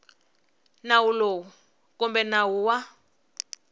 nawu lowu kumbe nawu wa